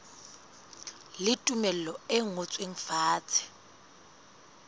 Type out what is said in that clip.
le tumello e ngotsweng fatshe